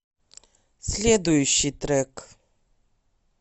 следующий трек